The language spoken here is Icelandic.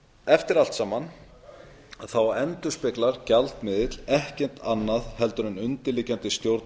eftir allt saman endurspeglar gjaldmiðill ekkert annað en undirliggjandi stjórn